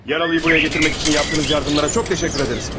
Yaralıyı buraya gətirmək üçün yapdığınız yardımlara çox təşəkkür edəriz.